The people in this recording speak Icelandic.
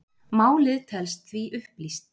Málið telst því upplýst